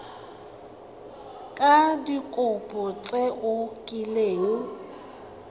ka dikopo tse o kileng